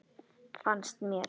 Fannst mér.